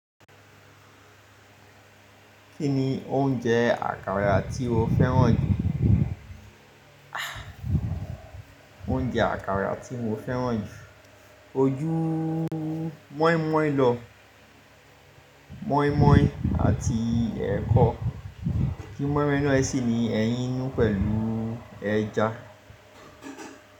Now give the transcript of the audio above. Kí ni oúnjẹ àkàrà tí o fẹ́ràn jù? Ha Oúnjẹ àkàrà tí mo fẹ́ràn jù, ko jú mọ́ímọ́í lọ, mọ́ímọ́í àti ẹ̀kọ, kí mọ́ímọ́ínú ẹ sì ní ẹyín inú pẹ̀lú ẹja.